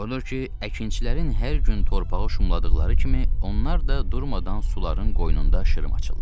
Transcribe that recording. Odur ki, əkinçilərin hər gün torpaq şumladıqları kimi, onlar da durmadan suların qoynunda şırım açırlar.